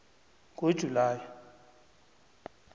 ngojulayi